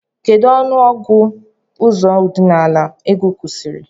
Kedu ọnụ ọgụ ụzọ ọdinala ego kwụsiri?